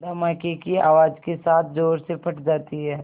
धमाके की आवाज़ के साथ ज़ोर से फट जाती है